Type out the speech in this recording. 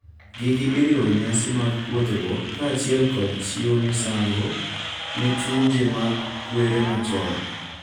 Gigi oriwo nyasi magpuodhruok kaachiel kod chiwo misango ne chunje mag kwere machon,